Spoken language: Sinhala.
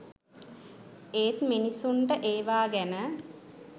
ඒත් මිනිසුන්ට ඒවා ගැන